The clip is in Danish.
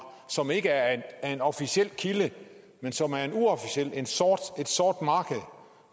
som ikke er en officiel kilde men som er et sort marked